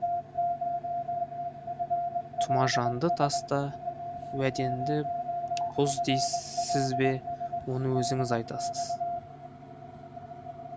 тұмажанды таста уәдеңді бұз дейсіз бе оны өзіңіз айтыңыз